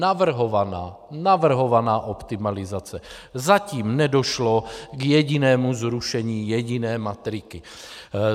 Navrhovaná - navrhovaná optimalizace, zatím nedošlo k jedinému zrušení jediné matriky.